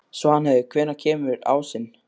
Svanheiður, hvenær kemur ásinn?